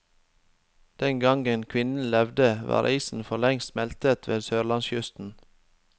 Den gangen kvinnen levde, var isen forlengst smeltet ved sørlandskysten.